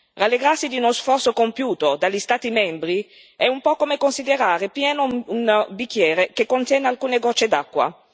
Rallegrarsi di uno sforzo compiuto dagli Stati membri è un po'come considerare pieno un bicchiere che contiene alcune gocce d'acqua.